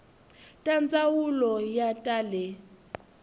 ta ndzawulo ya ta le